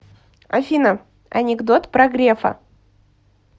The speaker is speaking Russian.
афина анекдот про грефа